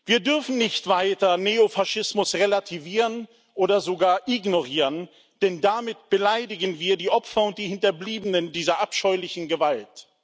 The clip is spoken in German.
Wir dürfen nicht weiter Neofaschismus relativieren oder sogar ignorieren, denn damit beleidigen wir die Opfer und die Hinterbliebenen dieser abscheulichen Gewalt.